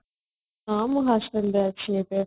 ହଁ ମୁଁ hostel ରେ ଅଛି ଏବେ